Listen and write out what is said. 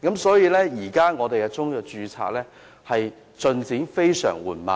所以，現時中藥註冊的進度非常緩慢。